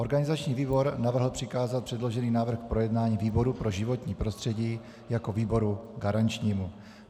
Organizační výbor navrhl přikázat předložený návrh k projednání výboru pro životní prostředí jako výboru garančnímu.